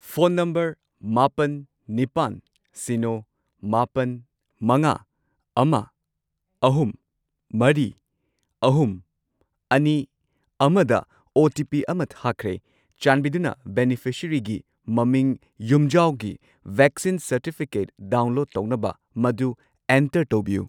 Phone number ꯃꯥꯄꯜ, ꯅꯤꯄꯥꯟ, ꯁꯤꯅꯣ, ꯃꯥꯄꯟ, ꯃꯉꯥ, ꯑꯃ, ꯑꯍꯨꯝ, ꯃꯔꯤ, ꯑꯍꯨꯝ, ꯑꯅꯤ, ꯑꯃꯗ ꯑꯣ.ꯇꯤ.ꯄꯤ. ꯑꯃ ꯊꯥꯈ꯭ꯔꯦ꯫ ꯆꯥꯟꯕꯤꯗꯨꯅ ꯕꯦꯅꯤꯐꯤꯁꯔꯤꯒꯤ ꯃꯃꯤꯡ ꯌꯨꯝꯖꯥꯎꯒꯤ ꯚꯦꯛꯁꯤꯟ ꯁꯔꯇꯤꯐꯤꯀꯦꯠ ꯗꯥꯎꯟꯂꯣꯗ ꯇꯧꯅꯕ ꯃꯗꯨ ꯑꯦꯟꯇꯔ ꯇꯧꯕꯤꯌꯨ꯫